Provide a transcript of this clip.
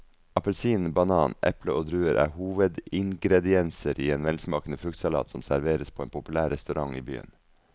Appelsin, banan, eple og druer er hovedingredienser i en velsmakende fruktsalat som serveres på en populær restaurant i byen.